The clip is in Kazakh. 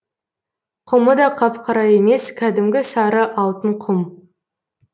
құмы да қап қара емес кәдімгі сары алтын құм